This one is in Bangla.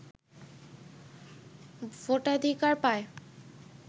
ভোটাধিকার পায়